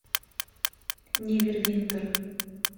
невервинтер